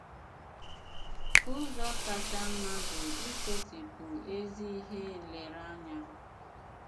Ụ̀zọ kacha mma bụ isetị̀pụ ezi ihe nlèrèanya.